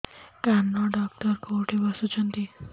କାନ ଡକ୍ଟର କୋଉଠି ବସୁଛନ୍ତି